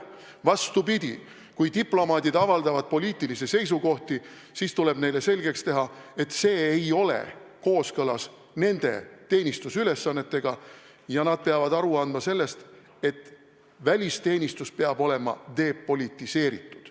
Vastupidi, kui diplomaadid avaldavad poliitilisi seisukohti, siis tuleb neile selgeks teha, et see ei ole kooskõlas nende teenistusülesannetega ja nad peavad endale aru andma, et välisteenistus peab olema depolitiseeritud.